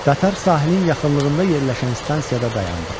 Qatar sahilin yaxınlığında yerləşən stansiyada dayandı.